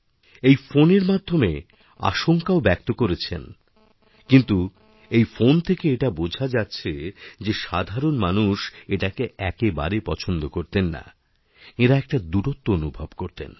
এই ফোনের মাধ্যেম আশঙ্কাও ব্যক্ত করেছেনকিন্তু এই ফোন থেকে এটা বোঝা যাছে যে সাধারণ মানুষ এটাকে একেবারেই পছন্দ করতেননা এঁরা একটা দূরত্ব অনুভব করতেন